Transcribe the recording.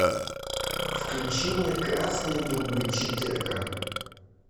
включи мне красные дубы четырка